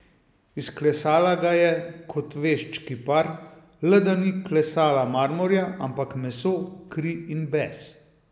Izklesala ga je kot vešč kipar, le da ni klesala marmorja, ampak meso, kri in bes.